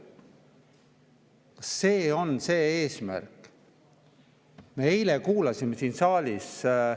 Kas see on see eesmärk?